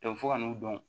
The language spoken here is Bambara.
fo ka n'u dɔn